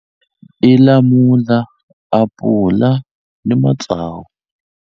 I lamula apula ni matsavu.